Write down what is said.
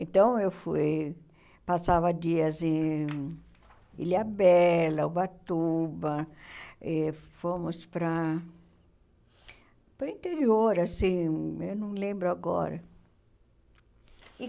Então, eu fui, passava dias em Ilhabela, Ubatuba, e fomos para para interior, assim, eu não lembro agora. E